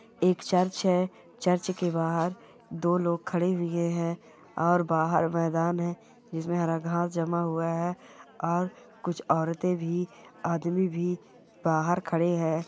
एक चर्च है चर्च के बाहर दो लोग खड़े हुए है और बाहर मैदान है जिसमे हरा घास जमा हुआ है और कुछ औरतें भी आदमी भी बाहर खड़े है।